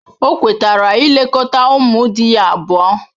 O kwetara ilekọta ụmụ di ya abụọ.